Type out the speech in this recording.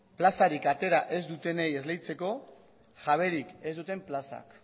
plazarik atera ez dutenei esleitzeko jaberik ez duten plazak